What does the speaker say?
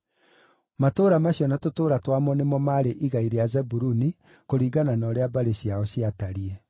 Matũũra macio na tũtũũra twamo nĩmo maarĩ igai rĩa Zebuluni, kũringana na ũrĩa mbarĩ ciao ciatariĩ.